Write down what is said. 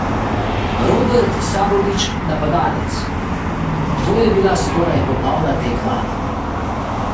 Robert Sabolič, napadalec: "To je bila skoraj popolna tekma.